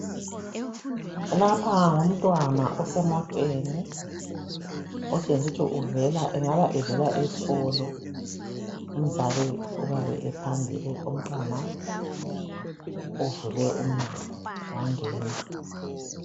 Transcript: Lapha ngumntwana osemoteni , otshengisukuthi engaba evela eskolo. Umzali uyabe ephambili , umntwana uvule umnyango wangena .